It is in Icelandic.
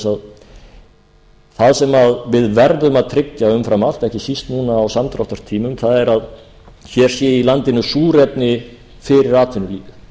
að það sem við verðum að tryggja umfram allt ekki síst núna á samdráttartímum er að hér sé í landinu súrefni fyrir atvinnulífið